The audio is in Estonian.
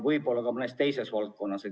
Võib-olla ka mõnes teises valdkonnas.